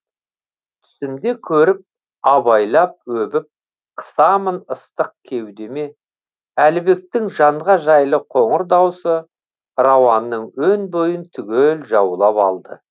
түсімде көріп абайлап өбіп қысамын ыстық кеудеме әлібектің жанға жайлы қоңыр даусы рауанның өн бойын түгел жаулап алды